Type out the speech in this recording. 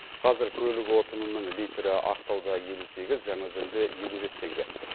қазір көлік отынының литрі ақтауда елу сегіз жаңаөзенде елу бес теңге